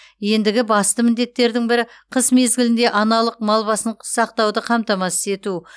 ендігі басты міндеттердің бірі қыс мезгілінде аналық мал басын сақтауды қамтамасыз ету